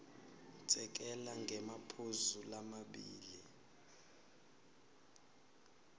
sekela ngemaphuzu lamabili